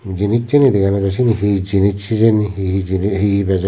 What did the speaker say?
jinisseni dega nw jai sieni hi jinis hijeni hi hi jini hi hi beje.